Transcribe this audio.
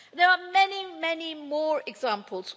There are many, many more examples.